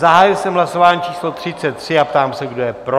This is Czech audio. Zahájil jsem hlasování číslo 33 a ptám se, kdo je pro?